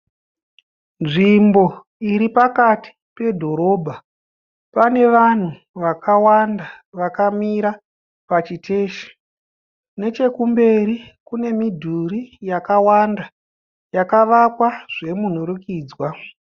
Nzvimbo iri pakati pedhorobha, pane vanhu vakawanda vakamira pachiteshi nechekumberi kune midhuri yakawanda yakavakwa zvemunhurikidzwa.